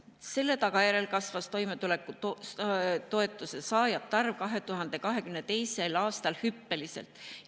Selle tagajärjel kasvas toimetulekutoetuse saajate arv 2022. aastal hüppeliselt.